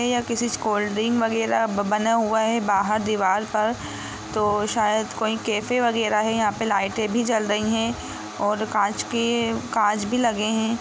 है या किसी कोल्ड डिंग वगेरा ब-बने हुए हैं बाहार दीवाल पर तो शायद कोइ कैफे वगेरा है यहा पे लाईटें भी जल रही है और कांच की काच भी लगे हैं।